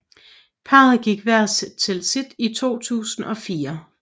Parret gik hvert til sit i 2004